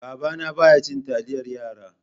Babana baya cin taliyar yara.